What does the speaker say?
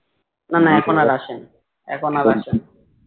এখন আর আসেনা